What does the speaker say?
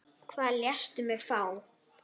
Hvað lést þú mig fá?